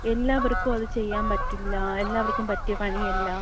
എല്ലാവർക്കും അത് ചെയ്യാൻ പറ്റില്ല. എല്ലാവർക്കും പറ്റിയ പണിയല്ല.